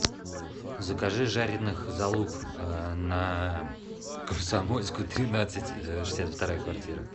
закажи жареных залуп на комсомольскую тринадцать шестьдесят вторая квартира